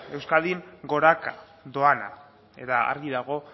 euskadin goraka doana eta argi dago